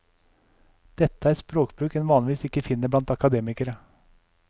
Dette er språkbruk en vanligvis ikke finner blant akademikere.